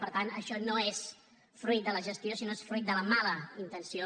per tant això no és fruit de la gestió sinó és fruit de la mala intenció